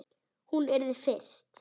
Hún yrði fyrst.